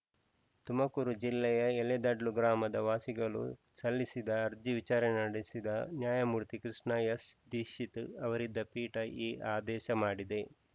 ತುಮಕೂರು ಜಿಲ್ಲೆಯ ಯಲೆದಡ್ಲು ಗ್ರಾಮದ ವಾಸಿಗಳು ಸಲ್ಲಿಸಿದ್ದ ಅರ್ಜಿ ವಿಚಾರಣೆ ನಡೆಸಿದ ನ್ಯಾಯಮೂರ್ತಿ ಕೃಷ್ಣ ಎಸ್‌ ದೀಕ್ಷಿತ್‌ ಅವರಿದ್ದ ಪೀಠ ಈ ಆದೇಶ ಮಾಡಿದೆ